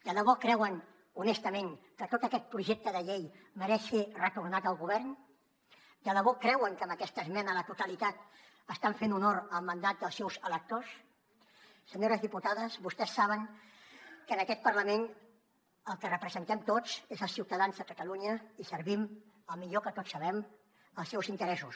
de debò creuen honestament que tot aquest projecte de llei mereix ser retornat al govern de debò creuen que amb aquesta esmena a la totalitat estan fent honor al mandat dels seus electors senyores diputades vostès saben que en aquest parlament el que representem tots és als ciutadans de catalunya i servim el millor que tots sabem els seus interessos